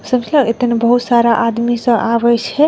समझल एते न बहुत सारा आदमी सब आवइछे।